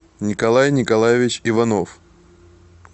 николай николаевич иванов